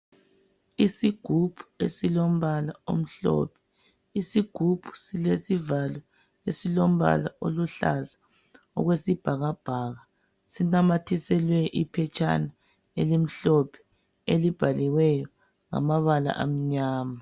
Isigubhu esilombala omhlophe, isigubhu silesivalo esilombala oluhlaza okwesibhakabhaka sinamathiselwe iphetshana elimhlophe elibhaliweyo ngamabala amnyama.